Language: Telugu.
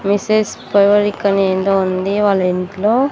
మెసేజ్ ఏందో ఉంది వాళ్ల ఇంట్లో--